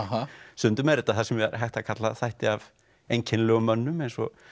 stundum er þetta þar sem hægt er að kalla þætti af einkennilegum mönnum eins og